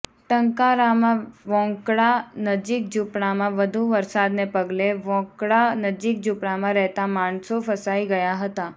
ટંકારામાં વોંકળા નજીક ઝુંપડામાં વધુ વરસાદને પગલે વોંકળા નજીક ઝુંપડામાં રહેતા માણસો ફસાઈ ગયા હતા